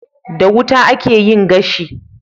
Da wuta akeyin gashi